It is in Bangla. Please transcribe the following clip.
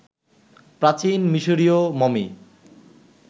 প্রাচীন মিশরীয় মমি